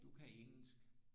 Du kan engelsk